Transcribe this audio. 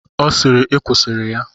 Ọ sịịrị, I kwusịrị ya!